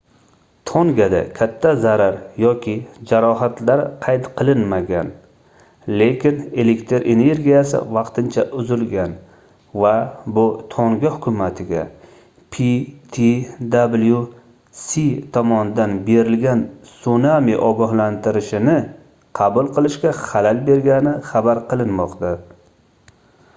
tongada katta zarar yoki jarohatlar qayd qilinmagan lekin elektr energiyasi vaqtincha uzilgan va bu tonga hukumatiga ptwc tomonidan berilgan sunami ogohlantirishini qabul qilishga xalal bergani xabar qilinmoqda